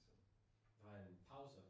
Der var en pause?